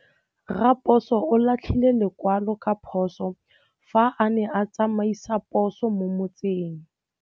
Raposo o latlhie lekwalô ka phosô fa a ne a tsamaisa poso mo motseng.